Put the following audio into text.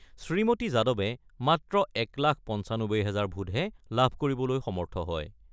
শ্ৰীমতী যাদৱে মাত্ৰ এক লাখ ৯৫ হাজাৰ ভোটহে লাভ কৰিবলৈ সমৰ্থ হয়।